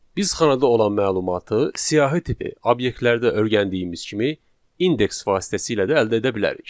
Biz xanada olan məlumatı siyahı tipi obyektlərdə öyrəndiyimiz kimi indeks vasitəsilə də əldə edə bilərik.